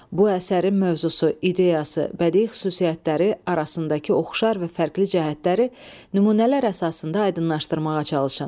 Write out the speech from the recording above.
Bu əsərin mövzusu, ideyası, bədii xüsusiyyətləri arasındakı oxşar və fərqli cəhətləri nümunələr əsasında aydınlaşdırmağa çalışın.